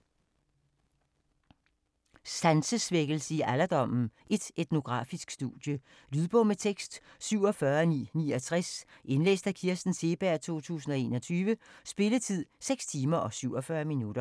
Sansesvækkelse i alderdommen: et etnografisk studie Lydbog med tekst 47969 Indlæst af Kirsten Seeberg, 2021. Spilletid: 6 timer, 47 minutter.